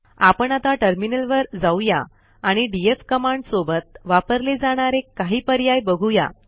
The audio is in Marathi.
आपण आता टर्मिनलवर जाऊया आणि डीएफ कमांड सोबत वापरले जाणारे काही पर्याय बघूया